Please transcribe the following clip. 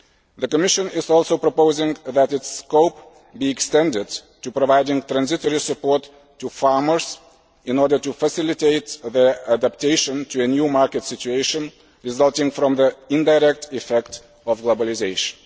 The Commission is also proposing that its scope be extended to providing transitory support to farmers in order to facilitate their adaptation to a new market situation resulting from the indirect effect of globalisation.